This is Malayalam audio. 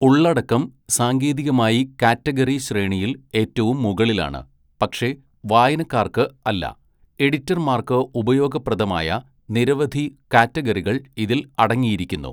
ഉള്ളടക്കം സാങ്കേതികമായി കാറ്റഗറി ശ്രേണിയിൽ ഏറ്റവും മുകളിലാണ്, പക്ഷേ വായനക്കാർക്ക് അല്ല, എഡിറ്റർമാർക്ക് ഉപയോഗപ്രദമായ നിരവധി കാറ്റഗറികൾ ഇതിൽ അടങ്ങിയിരിക്കുന്നു.